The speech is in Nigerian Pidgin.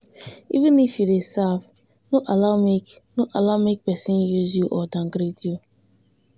even if you dey serve no allow make no allow make persin use you or downgrade you